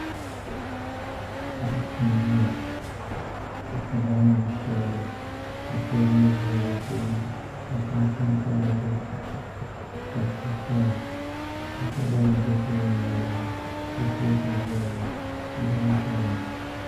Paɣa n ʒiya o pirila namdi piɛlli ka teebuli ʒɛ o tooni ka tahapoŋ pa dizuɣu ka suu paya ka kuriga nim bɛ teebuli maa loŋni kurifooti n ʒɛya ŋo duɣu n tamya ŋo